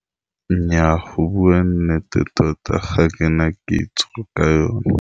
Nnyaa go bua nnete tota ga ke na kitso ka eo.